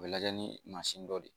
U bɛ lajɛ ni mansin dɔ de ye